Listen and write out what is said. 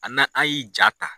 A , n' an y'i ja ta